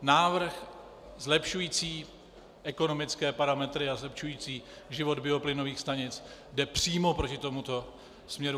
Návrh zlepšující ekonomické parametry a zlepšující život bioplynových stanic jde přímo proti tomuto směru.